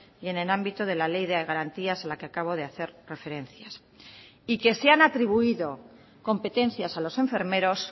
y en el ámbito de la ley de garantías a la que acabo de hacer referencias y que se han atribuido competencias a los enfermeros